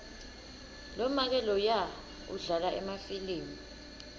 lomake loya udlala emafilimu